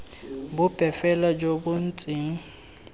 bope fela jo bo ntseng